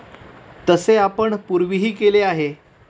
तसे आपण पूर्वीही केले आहे.